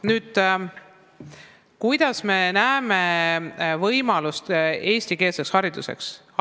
Nüüd, kuidas me näeme võimalust anda eestikeelset haridust kõrgkoolides?